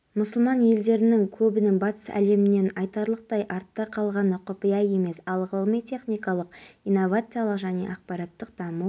астанада ашық аспан астында кинотеатр ашылды жазғы кинотеатр елордалық арбаттың маңындағы махамбет өтемісов атындағы оқушылар сарайының алдында орналасқан деп хабарлайды